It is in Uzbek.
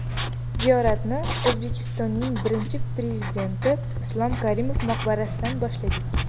Ziyoratni O‘zbekistonning Birinchi Prezidenti Islom Karimov maqbarasidan boshladik.